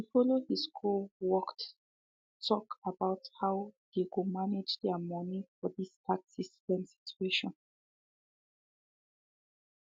he follow his co worked talk about how they go manage their money for this tax system situation